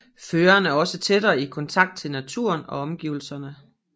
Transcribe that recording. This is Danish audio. Føreren er også tættere i kontakt til naturen og omgivelserne